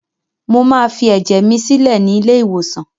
Mo máa fi ẹ̀jẹ̀ mi sílẹ̀ ni ilé-ìwòsàn.